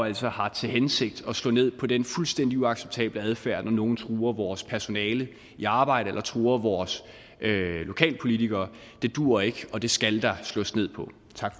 altså har til hensigt at slå ned på den fuldstændig uacceptable adfærd når nogen truer vores personale i arbejdet eller truer vores lokalpolitikere det duer ikke og det skal der slås ned på